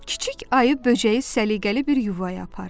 Kiçik ayı böcəyi səliqəli bir yuvaya apardı.